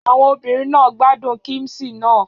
Àwọn obìnrin náà gbádùn kíḿṣì náà.